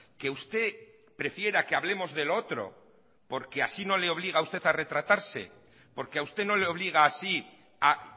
que usted prefiera que hablemos de lo otro porque así no le obliga usted a retratarse porque a usted no le obliga así a